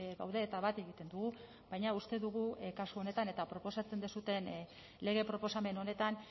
gaude eta bat egiten dugu baina uste dugu kasu honetan eta proposatzen duzuen lege proposamen honetan